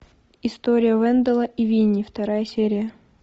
история венделла и винни вторая серия